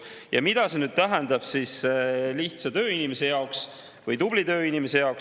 Ja mida see tähendab lihtsa tööinimese jaoks või tubli tööinimese jaoks?